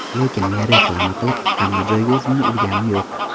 Lekin men reklama qilib, hamma joyga o‘zimni urganim yo‘q.